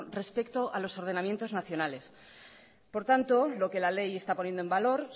respecto a los ordenamientos nacionales por tanto lo que la ley está poniendo en valor